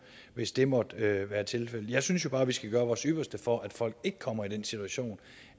hvis det måtte være tilfældet jeg synes bare vi skal gøre vores ypperste for at folk ikke kommer i den situation